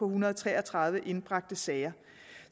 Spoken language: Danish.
hundrede og tre og tredive indbragte sager